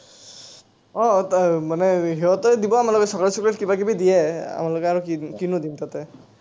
অ, অ। মানে সিহঁতে দিব আমাৰ কিবা কিবা দিয়ে, আৰু কি দিম, কিনো দিম তাত।